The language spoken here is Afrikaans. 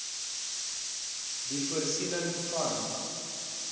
die voorsiening van